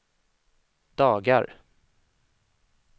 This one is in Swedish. dagar